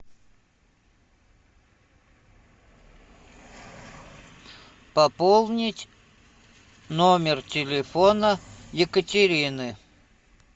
пополнить номер телефона екатерины